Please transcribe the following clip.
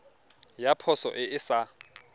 ya poso e e sa